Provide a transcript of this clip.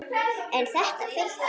En þetta fylgir.